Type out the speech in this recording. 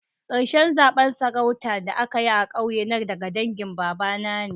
Karshen zaben sarautan da anyi a'ƙauye na daga dangin baba na ne.